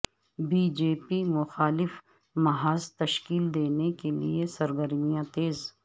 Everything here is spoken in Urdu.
بی جے پی مخالف محاذ تشکیل دینے کے لئے سرگرمیاں تیز